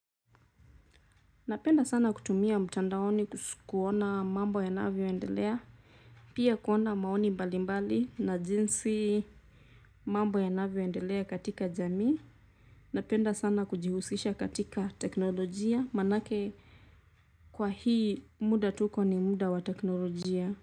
Napenda sana kutumia mtandaoni kuona mambo yanavyoendelea, pia kuona maoni mbalimbali na jinsi mambo yanavyoendelea katika jamii, napenda sana kujihusisha katika teknolojia manake kwa hii muda tuko ni muda wa teknolojia.